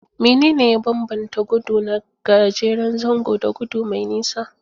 Menene ya bambanta gudu na gajeren zango da gudu mai nisa?